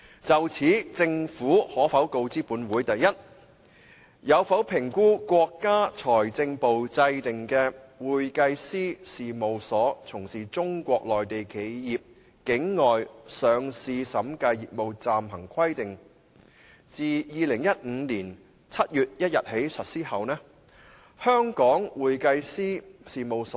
就香港核數師在內地執行審計工作而言，梁議員提及的《會計師事務所從事中國內地企業境外上市審計業務暫行規定》是中國財政部的一項主要監管規定。